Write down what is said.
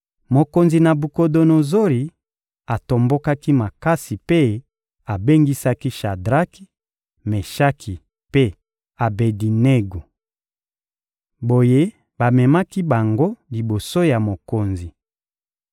Mokonzi Nabukodonozori atombokaki makasi mpe abengisaki Shadraki, Meshaki mpe Abedinego. Boye, bamemaki bango liboso ya mokonzi.